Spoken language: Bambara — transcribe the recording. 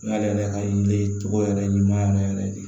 N y'ale yɛrɛ ka yiri togo yɛrɛ ɲuman yɛrɛ yɛrɛ de